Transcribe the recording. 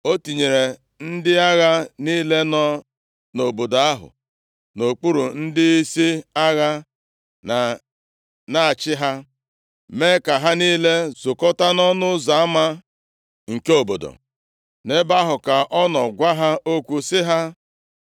O tinyere ndị agha niile nọ nʼobodo ahụ nʼokpuru ndịisi agha na-achị ha, mee ka ha niile zukọta nʼọnụ ụzọ ama nke obodo. Nʼebe ahụ ka ọ nọ gwa ha okwu sị ha,